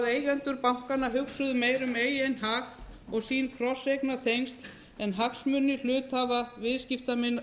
eigendur bankanna hugsuðu meira um eigin hag og sín krosseignartengsl en hagsmuni hluthafa viðskiptavina